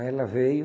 Aí ela veio.